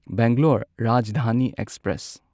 Bangalore Rajdhani express